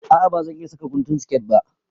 A'a ba zan iƴa saka guntun siket ba.